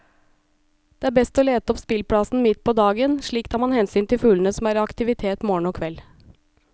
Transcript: Det er best å lete opp spillplassen midt på dagen, slik tar man hensyn til fuglene som er i aktivitet morgen og kveld.